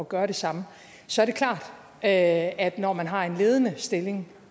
gøre det samme så er det klart at at når man har en ledende stilling